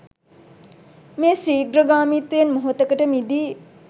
මේ ශීඝ්‍ර ගාමීත්වයෙන් මොහොතකට මිදී